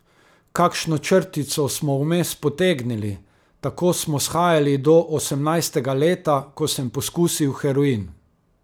Kakšno črtico smo vmes potegnili, tako smo shajali do osemnajstega leta, ko sem poskusil heroin.